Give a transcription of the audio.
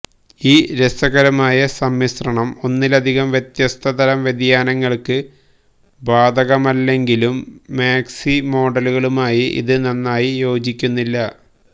ഈ രസകരമായ സമ്മിശ്രണം ഒന്നിലധികം വ്യത്യസ്ത തരം വ്യതിയാനങ്ങൾക്ക് ബാധകമല്ലെങ്കിലും മാക്സി മോഡലുകളുമായി ഇത് നന്നായി യോജിക്കുന്നില്ല